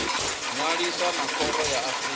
ṅwalisa na khoro ya afrika